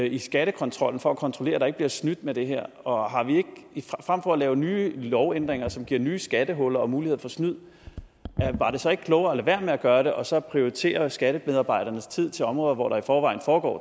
i skattekontrollen for at kontrollere at der ikke bliver snydt med det her og frem for at lave nye lovændringer som giver nye skattehuller og muligheder for snyd var det så ikke klogere at lade være med at gøre det og så prioritere skattemedarbejdernes tid til områder hvor der i forvejen